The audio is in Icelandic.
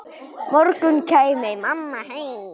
morgun kæmi mamma heim.